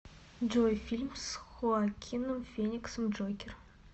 джой фильм с хоакином фениксом джокер